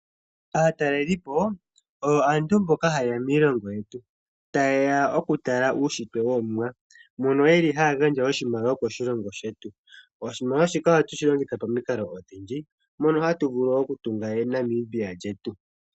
Aataleli po oyo aantu mboka haye ya miilongo yetu, taye ya oku tala uushitwe wOmuwa mono ye li haya gandja oshimaliwa koshilongo shetu. Oshimaliwa shika ohatu vulu okushi longitha pamikalo odhindji mono hatu vulu oku tunga Namibia lyetu.